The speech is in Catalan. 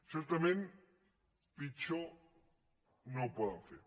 certament pitjor no ho poden fer